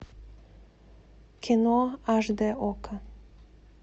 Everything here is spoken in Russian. кино аш д окко